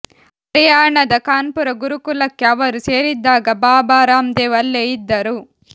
ಹರಿಯಾಣದ ಕಾನ್ಪುರ ಗುರುಕುಲಕ್ಕೆ ಅವರು ಸೇರಿದ್ದಾಗ ಬಾಬಾ ರಾಮ್ದೇವ್ ಅಲ್ಲೇ ಇದ್ದರು